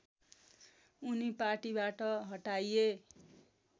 उनी पार्टीबाट हटाइए